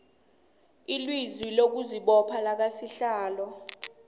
ilizwi lokuzibopha lakasihlalo